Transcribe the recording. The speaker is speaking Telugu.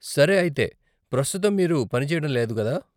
సరే, అయితే, ప్రస్తుతం మీరు పని చేయడం లేదు, కదా?